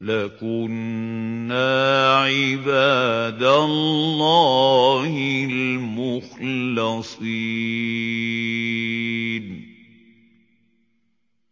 لَكُنَّا عِبَادَ اللَّهِ الْمُخْلَصِينَ